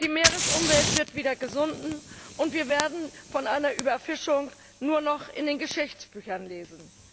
Die Meeresumwelt wird wieder gesunden, und wir werden von einer Überfischung nur noch in den Geschichtsbüchern lesen.